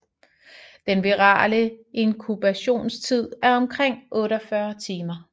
Den virale inkubationstid er omkring 48 timer